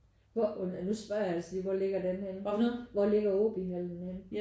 Hvor nu spørger jeg altså lige hvor ligger den henne? Hvor ligger Aabyhallen henne?